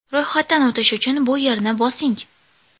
Ro‘yxatdan o‘tish uchun bu yerni bosing.